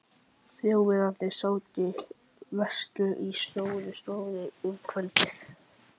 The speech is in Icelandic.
Þjóðverjarnir sátu veislu í Stórustofu um kvöldið.